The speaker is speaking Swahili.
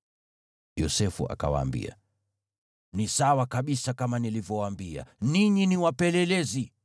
Yosefu akawaambia, “Ni sawa kabisa kama nilivyowaambia: Ninyi ni wapelelezi!